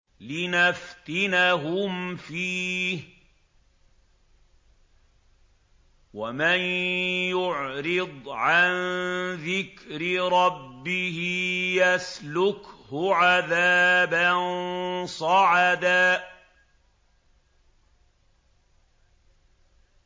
لِّنَفْتِنَهُمْ فِيهِ ۚ وَمَن يُعْرِضْ عَن ذِكْرِ رَبِّهِ يَسْلُكْهُ عَذَابًا صَعَدًا